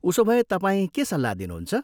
उसोभए, तपाईँ के सल्लाह दिनुहुन्छ?